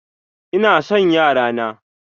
Ina son yara na.